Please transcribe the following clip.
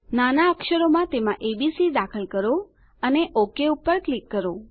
નાના અક્ષરમાં તેમાં એબીસી દાખલ કરો અને ઓક પર ક્લિક કરો